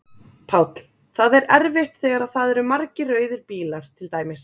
Páll: Það er erfitt þegar að það eru margir rauðir bílar til dæmis?